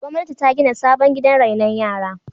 Gwamnati ta gina sabon gidan rainon yara.